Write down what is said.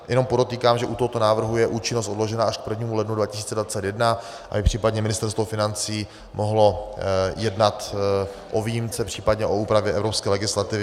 Jenom podotýkám, že u tohoto návrhu je účinnost odložena až k 1. lednu 2021, aby případně Ministerstvo financí mohlo jednat o výjimce, případně o úpravě evropské legislativy.